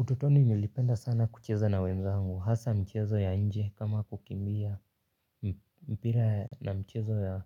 Utotoni nilipenda sana kucheza na wenzangu, hasa michezo ya nje kama kukimbia mpira na mchezo ya